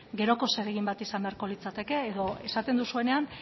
geroko zeregin bat izan beharko litzateke edo esaten duzuenean